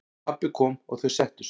Pabbi kom og þau settust.